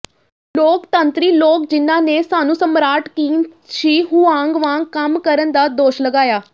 ਲੋਕਤੰਤਰੀ ਲੋਕ ਜਿਨ੍ਹਾਂ ਨੇ ਸਾਨੂੰ ਸਮਰਾਟ ਕਿਨ ਸ਼ੀ ਹੁਆਂਗ ਵਾਂਗ ਕੰਮ ਕਰਨ ਦਾ ਦੋਸ਼ ਲਗਾਇਆ